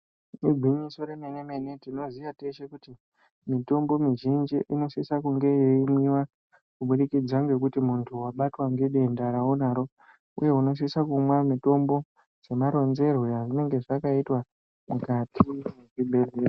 Igwinyiso remene mene, tinoziya teshe kuti mitombo mizhinji inosisa kunge yeimwiwa kubudikidza ngekuti muntu wabatwa ngedenda raunaro uye unosisa kumwa mutombo semaronzerwe ezvakaitwa mukwati mwezvibhedhleya.